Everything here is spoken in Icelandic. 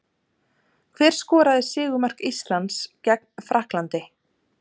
Hver skoraði sigurmark Íslands gegn Frakklandi?